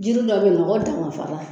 Jiri dɔ be yen mɔgɔ tanma fara